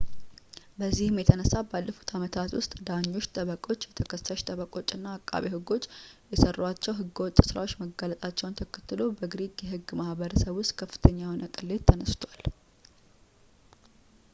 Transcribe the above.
በዚህም የተነሳ ባለፉት አመታት ውስጥ ዳኞች ጠበቆች የተከሳሽ ጠበቃዎችና አቃቢ ሕጎች የሰሯቸው ሕገወጥ ስራዎች መጋለጣቸውን ተከትሎ በግሪክ የሕግ ማሕበረሰብ ውስጥ ከፍተኛ የሆነ ቅሌት ተነስቷል